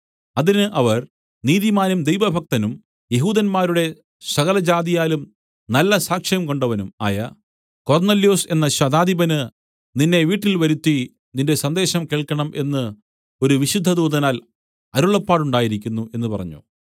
അതിന് അവർ നീതിമാനും ദൈവഭക്തനും യെഹൂദന്മാരുടെ സകലജാതിയാലും നല്ല സാക്ഷ്യംകൊണ്ടവനും ആയ കൊർന്നൊല്യോസ് എന്ന ശതാധിപന് നിന്നെ വീട്ടിൽ വരുത്തി നിന്റെ സന്ദേശം കേൾക്കണം എന്ന് ഒരു വിശുദ്ധദൂതനാൽ അരുളപ്പാടുണ്ടായിരിക്കുന്നു എന്നു പറഞ്ഞു